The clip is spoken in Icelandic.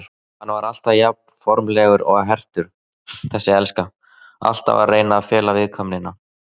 Hann var alltaf jafnformlegur og hertur, þessi elska, alltaf að reyna að fela viðkvæmnina.